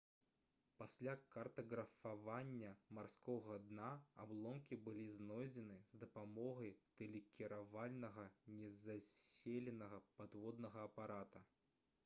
пасля картаграфавання марскога дна абломкі былі знойдзены з дапамогай тэлекіравальнага незаселенага падводнага апарата